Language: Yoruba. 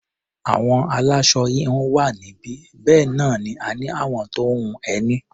Àwọn aláṣọ-híhun wà níbí, bẹ́ẹ̀ náà ni a ní àwọn tó ń hun ẹní.